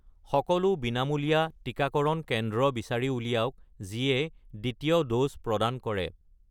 সকলো বিনামূলীয়া টিকাকৰণ কেন্দ্ৰ বিচাৰি উলিয়াওক যিয়ে দ্বিতীয় ড'জ প্ৰদান কৰে